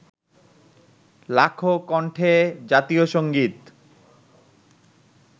লাখো কন্ঠে জাতীয় সংগীত